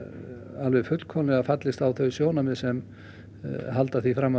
alveg fullkomlega fallist á þau sjónarmið sem halda því fram að